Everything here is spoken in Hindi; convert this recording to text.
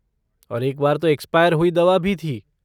और एक बार तो एक्सपायर हुई दवा भी थी।